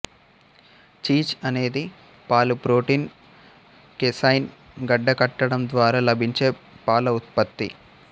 cheese అనేది పాలు protein casein గడ్డకట్టడం ద్వారా లభించే పాల ఉత్పత్తి